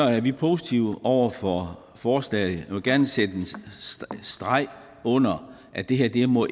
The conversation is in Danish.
vi positive over for forslaget jeg vil gerne sætte en streg under at det her ikke må